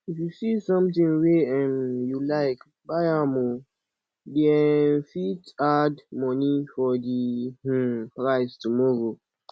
if you see sometin wey um you like buy am o dey um fit add moni for di um price tomorrow